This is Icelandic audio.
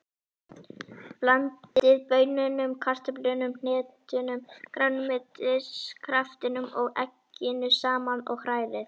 Blandið baununum, kartöflunum, hnetunum, grænmetiskraftinum og egginu saman og hrærið.